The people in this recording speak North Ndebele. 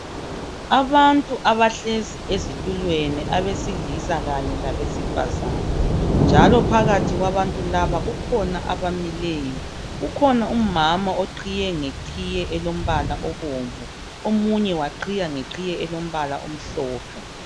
Abantu abahlezi esitulweni abesilisa labesifazana njalo phakathi kwabantu laba kukhona abamileyo. Kukhona umama oqhiye ngeqhiye elombala obomvu omunye ngelombala omhlophe.